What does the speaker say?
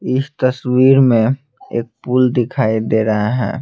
इस तस्वीर में एक पुल दिखाई दे रहा है।